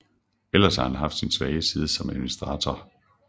Ellers har han haft sin svage side som administrator